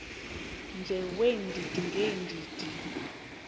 nje weendidi ngeendidi